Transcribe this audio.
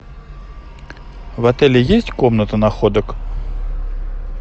в отеле есть комната находок